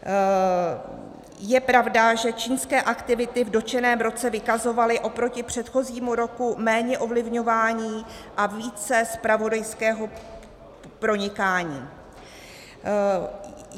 Je pravda, že čínské aktivity v dotčeném roce vykazovaly oproti předchozímu roku méně ovlivňování a více zpravodajského pronikání.